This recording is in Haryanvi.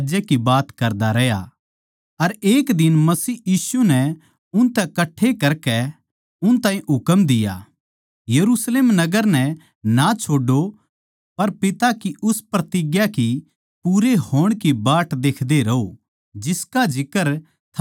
अर एक दिन मसीह यीशु नै उनतै कठ्ठे करकै उन ताहीं हुकम दिया यरुशलेम नगर नै ना छोड्डो पर पिता की उस प्रतिज्ञा की पूरे होण की बाट देखदे रहो जिसका जिक्रा थम मेरै तै सुण चुके सो